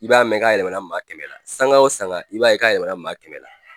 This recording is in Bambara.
I b'a mɛn k'a yɛlɛmɛna maa kɛmɛ la sanga o sanga i b'a ye k'a yɛlɛmɛna maa kɛmɛ la.